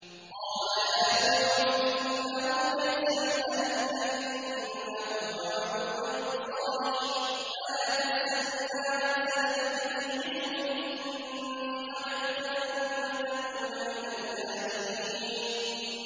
قَالَ يَا نُوحُ إِنَّهُ لَيْسَ مِنْ أَهْلِكَ ۖ إِنَّهُ عَمَلٌ غَيْرُ صَالِحٍ ۖ فَلَا تَسْأَلْنِ مَا لَيْسَ لَكَ بِهِ عِلْمٌ ۖ إِنِّي أَعِظُكَ أَن تَكُونَ مِنَ الْجَاهِلِينَ